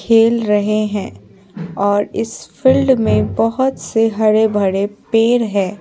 खेल रहे हैंऔर इस फील्ड में बहुत से हरे भरे पेर है।